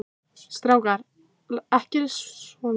Strákar, látið ekki svona muldraði hann dreyrrauður í kinnum.